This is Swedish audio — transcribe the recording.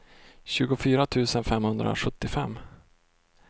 tjugofyra tusen femhundrasjuttiofem